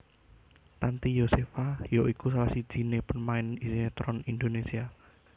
Tanty Yosepha ya iku salah sijiné pemain sinétron Indonésia